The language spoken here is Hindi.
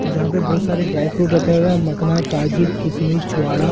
जहां पे बहुत सारे ड्राई फ्रूट रखे हुए हैं मकना काजू किशमिश चुहाड़ा --